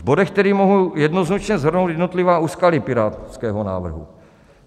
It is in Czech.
V bodech tedy mohu jednoznačně shrnout jednotlivá úskalí pirátského návrhu.